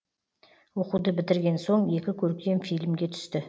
оқуды бітірген соң екі көркем фильмге түсті